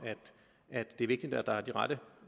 at det er vigtigt at der er de rette